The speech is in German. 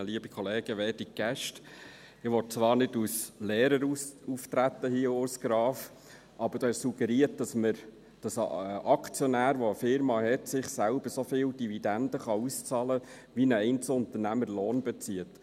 Ich will hier zwar nicht als Lehrer auftreten, Urs Graf, aber du hast suggeriert, dass ein Aktionär, der eine Firma hat, sich selbst so viele Dividenden auszahlen kann, wie ein Einzelunternehmer Lohn bezieht.